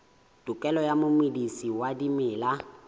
tokelo ya momedisi wa dimela